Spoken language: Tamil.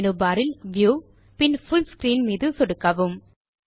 மேனு பார் இல் வியூ மீது சொடுக்கி பின் புல் ஸ்க்ரீன் மீது சொடுக்கவும்